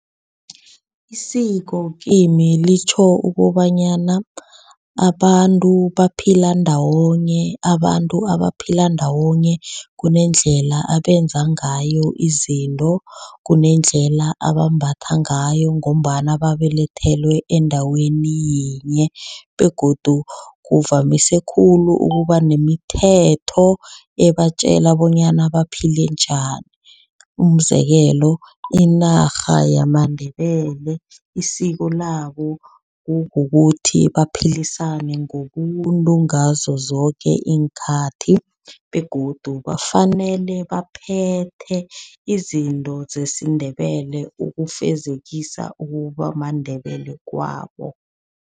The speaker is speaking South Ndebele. Isiko kimi litjho ukobanyana abantu baphila ndawonye. Abantu abaphila ndawonye kunendlela abenza ngayo izinto. Kunendlela abambatha ngayo ngombana babelethelwe endaweni yinye begodu kuvamise khulu ukuba nemithetho ebatjela bonyana baphile njani. Umzekelo inarha yamaNdebele isiko labo kukukuthi baphalisane ngobuntu ngazo zoke iinkhathi begodu bafanele baphethe izinto zesiNdebele. Ukufezekisa ukuba maNdebele kwabo.